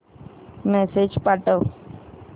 message पाठव